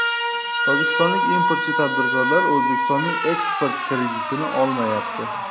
Tojikistonlik importchi tadbirkorlar O‘zbekistonning eksport kreditini olmayapti.